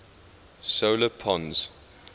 solar pons